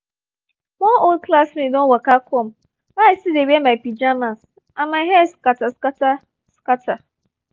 one old classmate don waka come while i still dey wear my pajamas and my hair scatter scatter scatter